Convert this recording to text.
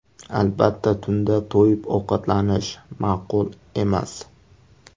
Albatta, tunda to‘yib ovqatlanish ma’qul emas.